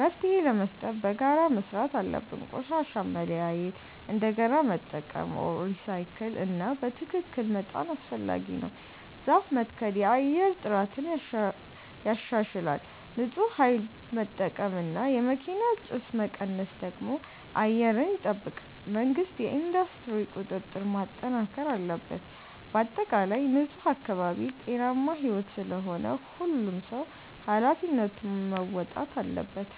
መፍትሄ ለመስጠት በጋራ መስራት አለብን። ቆሻሻን መለያየት፣ እንደገና መጠቀም (recycle) እና በትክክል መጣል አስፈላጊ ነው። ዛፍ መትከል የአየር ጥራትን ያሻሽላል። ንፁህ ኃይል መጠቀም እና የመኪና ጭስ መቀነስ ደግሞ አየርን ይጠብቃል። መንግሥት የኢንዱስትሪ ቁጥጥር ማጠናከር አለበት። በአጠቃላይ ንፁህ አካባቢ ጤናማ ሕይወት ስለሆነ ሁሉም ሰው ኃላፊነቱን መወጣት አለበት።